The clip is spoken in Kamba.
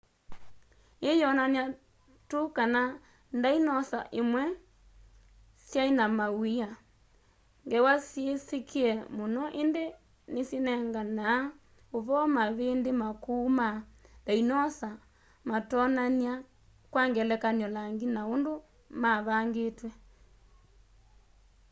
ii yionania tu kana ndainosa imwe swai na mawia ngewa syisikie mũno indi ni syinenganaa uvoo mavindi makũu ma ndainosa matonania kwa ngelekany'o langi na undũ mavangitwe